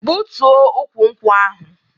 Gbutuo ukwu nkwụ ahụ!